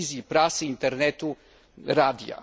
telewizji, prasy, Internetu i radia.